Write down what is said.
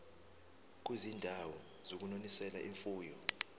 kwizindawo zokunonisela imfuyo